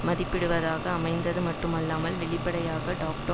மதிப்பிடுவதாக அமைந்தது மட்டுமல்லாமல் வெளிப்படையாக டாக்டோ